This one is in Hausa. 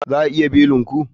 Za a iya belin ku?